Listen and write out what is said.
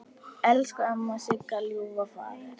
Elsku amma Sigga, Ljúfi faðir!